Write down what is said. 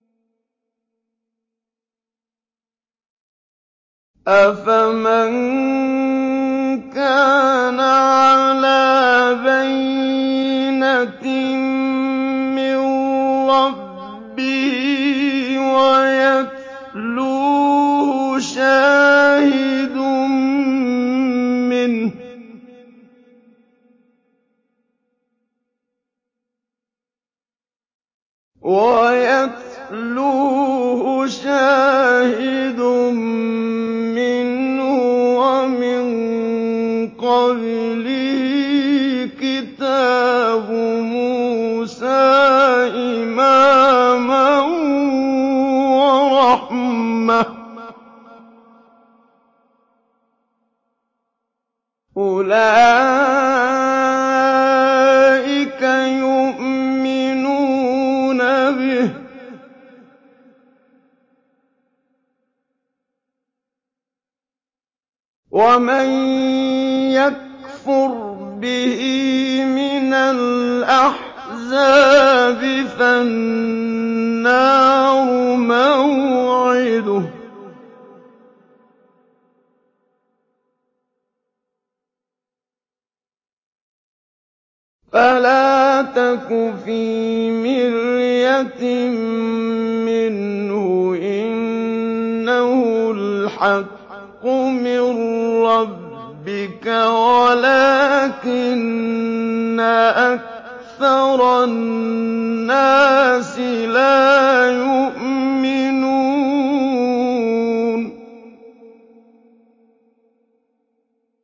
أَفَمَن كَانَ عَلَىٰ بَيِّنَةٍ مِّن رَّبِّهِ وَيَتْلُوهُ شَاهِدٌ مِّنْهُ وَمِن قَبْلِهِ كِتَابُ مُوسَىٰ إِمَامًا وَرَحْمَةً ۚ أُولَٰئِكَ يُؤْمِنُونَ بِهِ ۚ وَمَن يَكْفُرْ بِهِ مِنَ الْأَحْزَابِ فَالنَّارُ مَوْعِدُهُ ۚ فَلَا تَكُ فِي مِرْيَةٍ مِّنْهُ ۚ إِنَّهُ الْحَقُّ مِن رَّبِّكَ وَلَٰكِنَّ أَكْثَرَ النَّاسِ لَا يُؤْمِنُونَ